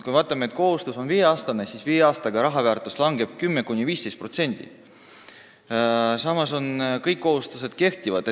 Kui on viieaastane kohustus, siis raha väärtus langeb viie aastaga 10–15%, samas kui kõik kohustused kehtivad.